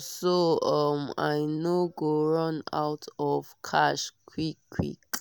so um i no go run out of cash quick quick